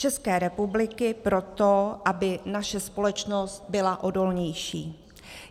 České republiky proto, aby naše společnost byla odolnější.